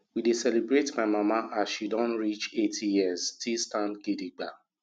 we dey celebrate my mama as she don reach 80 years still stand gidigba